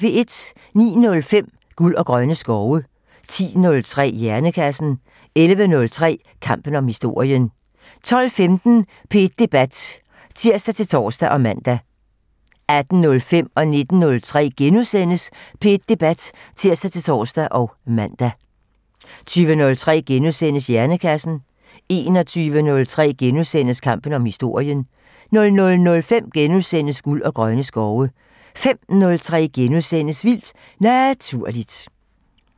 09:05: Guld og grønne skove 10:03: Hjernekassen 11:03: Kampen om historien 12:15: P1 Debat (tir-tor og man) 18:05: P1 Debat *(tir-tor og man) 19:03: P1 Debat *(tir-tor og man) 20:03: Hjernekassen * 21:03: Kampen om historien * 00:05: Guld og grønne skove * 05:03: Vildt Naturligt *